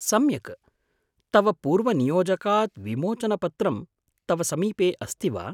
सम्यक्, तव पूर्वनियोजकात् विमोचनपत्रं तव समीपे अस्ति वा?